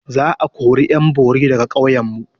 Za a kori ƴan bori daga ƙauyan mu.